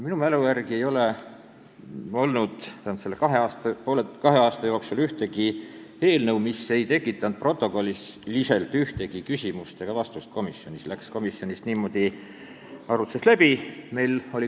Minu mälu järgi ei ole vähemalt viimase kahe aasta jooksul olnud ühtegi teist sellist eelnõu, mis ei tekita komisjonis protokolliliselt ühtegi küsimust, läheb komisjonis niimoodi arutlusest läbi.